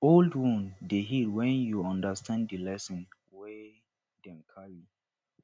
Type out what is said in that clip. old wound dey heal wen yu undastand di lesson wey dem carry